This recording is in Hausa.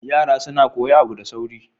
Yara suna koyi abu da sauri.